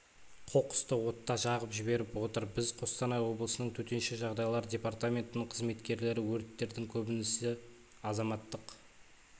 қоқысты отта жағып жіберіп отыр біз қостанай облысының төтенше жағдайлар департаментінің қызметкерлері өттердің көбінісі азаматтық